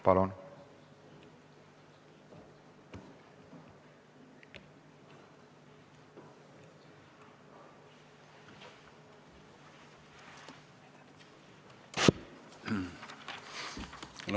Palun!